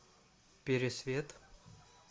пересвет